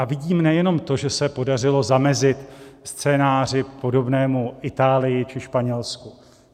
A vidím nejenom to, že se podařilo zamezit scénáři podobnému Itálii či Španělsku.